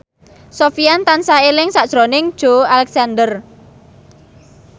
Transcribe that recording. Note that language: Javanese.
Sofyan tansah eling sakjroning Joey Alexander